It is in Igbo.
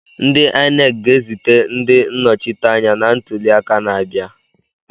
Ndị Inec ga-ezite ndị nnọchiteanya na ntuli aka na-abịa?